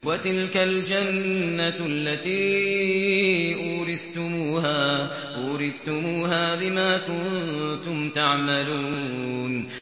وَتِلْكَ الْجَنَّةُ الَّتِي أُورِثْتُمُوهَا بِمَا كُنتُمْ تَعْمَلُونَ